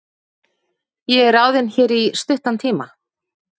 Ég er ráðinn hér í stuttan tíma.